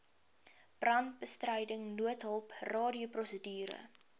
brandbestryding noodhulp radioprosedure